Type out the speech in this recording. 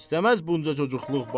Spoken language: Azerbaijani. İstəməz bunca çocuqluq.